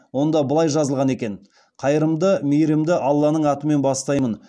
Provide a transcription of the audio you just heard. онда былай жазылған екен қайырымды мейірімді алланың атымен бастаймын